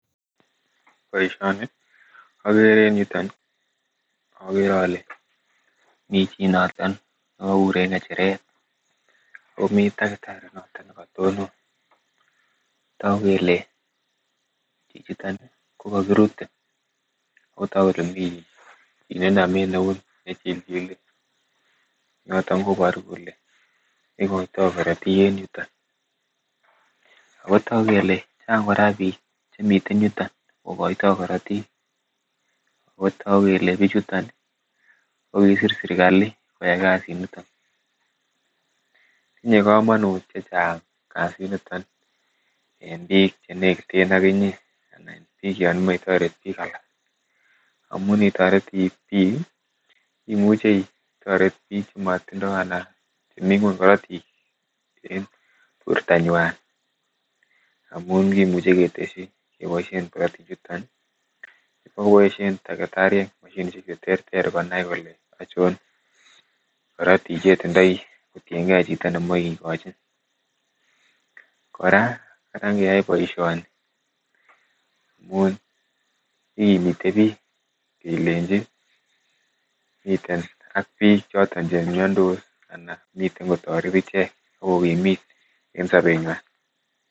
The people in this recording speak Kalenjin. Boishoni okere en yuton nii okere Ile mii chii noton nekobur en ngechiret omii takitari noton nekotonon, toku kele chichiton ko kokirute otoku kele mii kit nemii eut nechilchile niton koboru kele ikoito korotik en yuton, ako toku kele Chang bik Koraa chemiten yuton kokoito korotik otoku kele bichuton ko kisir sirkali koyai kasit niton. Tinye komonut chechang kasit niton en bik chenekiten okinyee anan bik yon imoche itoret bik alak, omunee itoretii bik kii imuche itoret bik chemotindo anan chemii ngwony korotik en bortonywan amun kimuche koteshi keboishen korotik chuton nii. Bo koboishen takitariek moshinishek cheterter konai kole ochon korotik che itindoi kotiyengee chito nemoi kikochi. Koraa karan keyoe boishoni amun kikimite bik kelenji miten ak bik choton chemiondos ana miten kotoret ichek ak kokimit en sobenywan.